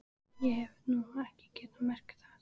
Ég hef nú ekki getað merkt það.